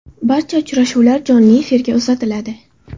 Barcha uchrashuvlar jonli efirga uzatiladi.